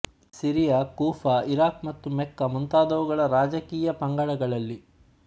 ಸಿರಿಯ Kufa Iraq ಮತ್ತು Mecca ಮುಂತಾದವುಗಳ ರಾಜಕೀಯ ಪಂಗಡಗಳಲ್ಲಿ